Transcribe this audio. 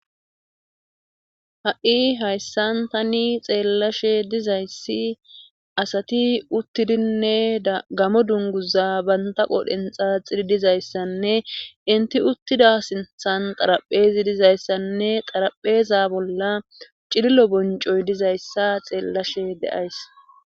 Ha'i hayssan tani xeellashe dizayssi asati uttidinne gammo dunguza banta qodhdhen xaxidi dizayssanne inti uttida sinththan qaraphphezi dizayssanne xarapheeza bolla cilillo boncoy dizayssa xeellashe de'ays.